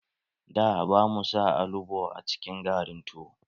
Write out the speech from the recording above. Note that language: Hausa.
Da, ba mu sa alubo a cikin garin tuwo.